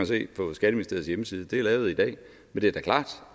se på skatteministeriets hjemmeside det er lavet i dag men det er da klart